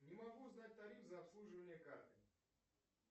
не могу узнать тариф за обслуживание карты